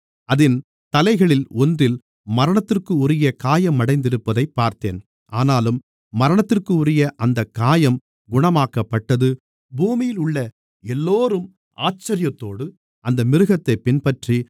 அதின் தலைகளில் ஒன்றில் மரணத்திற்குரிய காயமடைந்திருப்பதைப் பார்த்தேன் ஆனாலும் மரணத்திற்குரிய அந்தக் காயம் குணமாக்கப்பட்டது பூமியிலுள்ள எல்லோரும் ஆச்சரியத்தோடு அந்த மிருகத்தைப் பின்பற்றி